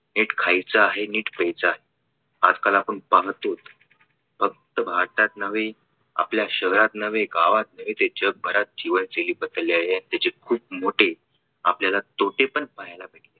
नीट खायचा आहे. नीट प्यायचा आहे. आजकाल आपण पाहतो फक्त भारतात नव्हे आपल्या शहरात नव्हे गावात नव्हे ते जगभरात जीवनशैली बदललेली आहे आणि तिची खूप मोठे आपल्याला तोटे पण पाहायला भेटले.